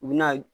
U bi na